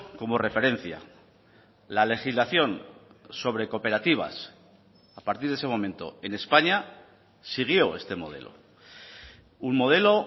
como referencia la legislación sobre cooperativas a partir de ese momento en españa siguió este modelo un modelo